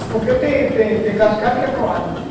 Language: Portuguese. Porque tem tem cascalho que é